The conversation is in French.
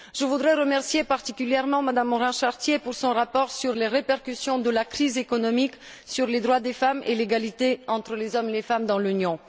Je voudrais remercier particulièrement Mme Morin Chartier pour son rapport sur les répercussions de la crise économique sur les droits des femmes et l'égalité entre les hommes et les femmes dans l'Union.